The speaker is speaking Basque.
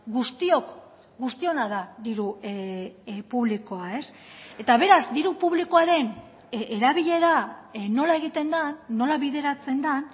guztiok guztiona da diru publikoa eta beraz diru publikoaren erabilera nola egiten den nola bideratzen den